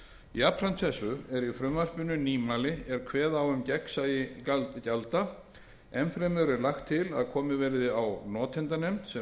jafnframt þessu er í frumvarpinu nýmæli er kveða á um gagnsæi gjalda enn fremur er lagt til að komið verði á notendanefnd sem verði